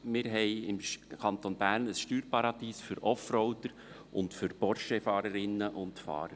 Wir haben im Kanton Bern ein Steuerparadies für Offroader und für Porschefahrerinnen und -fahrer.